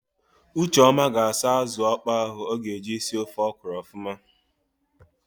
Ucheọma ga-asa ázụ̀ ọkpọọ ahụ o ga-eji si ofe ọkwụrụ ọfụma.